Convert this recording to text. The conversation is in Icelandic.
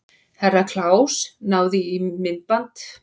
Herra Kláus náði í myndaalbúmið og setti á borðið fyrir framan sig.